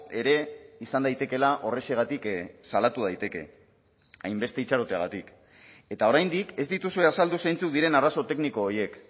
ere izan daitekeela horrexegatik salatu daiteke hainbeste itxaroteagatik eta oraindik ez dituzue azaldu zeintzuk diren arazo tekniko horiek